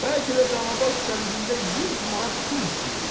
Bəlkə də danabaş kəndində 100 manat pul istəyirlər.